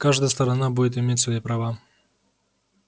каждая сторона будет иметь свои права